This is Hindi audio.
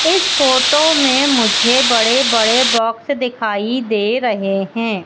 इस फोटो में मुझे बड़े बड़े बॉक्स दिखाई दे रहे हैं।